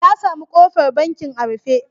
Ya sami ƙofar bankin a rufe.